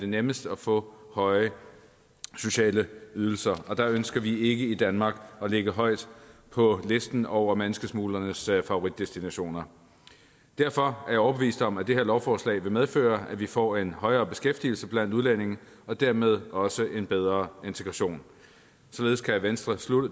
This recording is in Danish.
nemmest at få høje sociale ydelser og der ønsker vi ikke i danmark at ligge højt på listen over menneskesmuglernes favoritdestinationer derfor er jeg overbevist om at det her lovforslag vil medføre at vi får en højere beskæftigelse blandt udlændinge og dermed også en bedre integration således kan venstre